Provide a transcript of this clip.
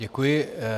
Děkuji.